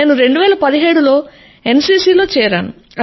నేను 2017లో ఎన్సీసీ లో చేరాను